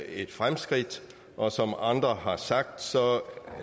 et fremskridt og som andre har sagt